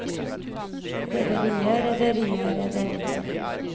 rederiet rederiet rederiet